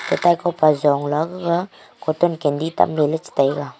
kataiko pa jongla gaga cotton candy tamle la che taiga.